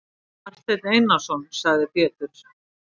Marteinn Einarsson, sagði Pétur.